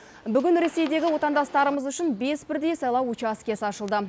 бүгін ресейдегі отандастарымыз үшін бес бірдей сайлау учаскесі ашылды